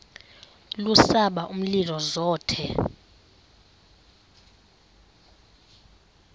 lubasa umlilo zothe